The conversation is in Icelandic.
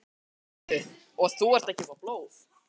Viktoría: Heyrðu, og þú ert að gefa blóð?